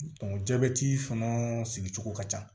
jabɛti fana sigicogo ka ca